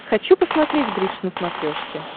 хочу посмотреть бридж на смотрешке